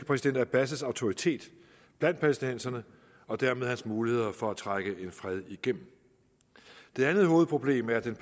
præsident abbas autoritet blandt palæstinenserne og dermed hans muligheder for at trække en fred igennem det andet hovedproblem er den